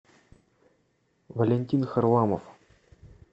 валентин харламов